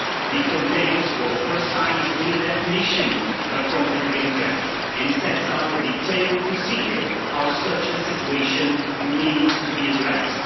They contain, for the first time, a clear definition of conflict of interest and sets out a detailed procedure on how such a situation needs to be addressed.